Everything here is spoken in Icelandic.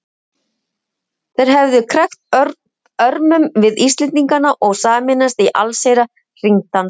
Þeir hefðu krækt örmum við Íslendingana og sameinast í allsherjar hringdansi.